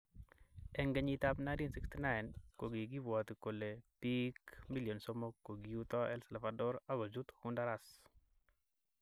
Eng kenyit ab 1969, kokibwoti kole bik 300000 kokiuto El Salvador ak kochut Honduras.